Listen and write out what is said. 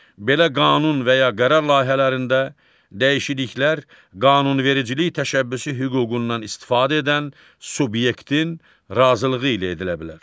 Belə qanun və ya qərar layihələrində dəyişikliklər qanunvericilik təşəbbüsü hüququndan istifadə edən subyektin razılığı ilə edilə bilər.